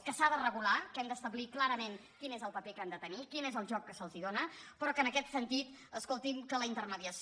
que s’ha de regular que hem d’establir clarament quin és el paper que han de tenir quin és el joc que se’ls dóna però que en aquest sentit escoltin que la intermediació